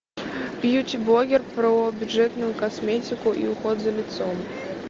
бьюти блогер про бюджетную косметику и уход за лицом